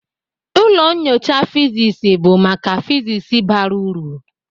Ụlọ nyocha physics bụ maka physics bara uru.